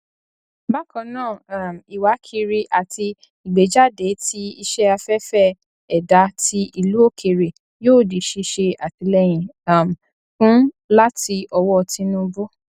bákan náà um ìwákiri àti ìgbéjáde ti iṣẹ afẹfẹ ẹdá ti ìlú òkèèrè yóò di ṣíṣe àtìlẹyìn um fún láti ọwọ tinubu